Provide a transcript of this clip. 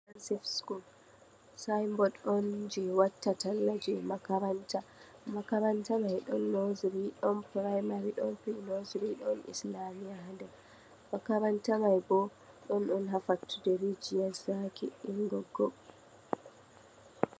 Comprehensive school sing bod je watta talla je makaranta, makaranta man bo ɗon primary ɗon nursery ɗon pre-nursery, makaranta man ɗon on ha fattude rijiyar zaki biri Goggo.